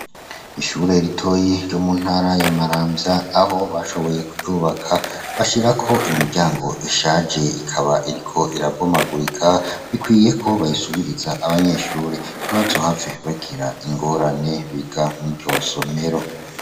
Ishure ritoyi ryo mu ntara ya Maramvya aho bashoboye kuryubaka bashira ko imiryango ishaje ikaba iriko iraboma gurika bikwiye ko bayisubiriza abanyeshure n'ibazu hafe bakira ingorane biga mu iryo somero.